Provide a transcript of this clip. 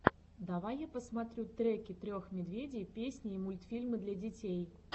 давай я посмотрю треки трех медведей песни и мультфильмы для детей